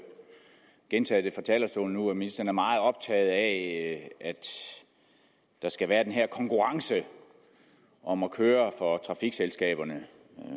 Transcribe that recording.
gentaget talerstolen nu at ministeren er meget optaget af at der skal være den her konkurrence om at køre for trafikselskaberne